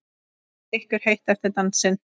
Er ykkur heitt eftir dansinn?